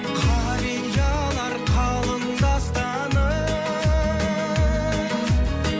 қариялар қалың дастаным